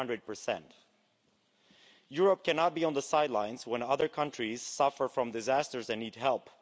400. Europe cannot be on the sidelines when other countries suffer from disasters and need help.